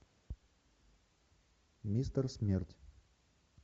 мистер смерть